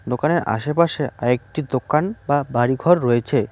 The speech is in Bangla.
দোকানের আশেপাশে আরেকটি দোকান বা বাড়িঘর রয়েছে।